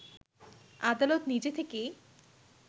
আদালত নিজে থেকেই